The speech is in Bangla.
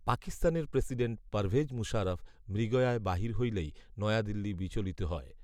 পাকিস্তানের প্রেসিডেন্ট পারভেজ মুশারফ মৃগয়ায় বাহির হইলেই নয়াদিল্লি বিচলিত হয়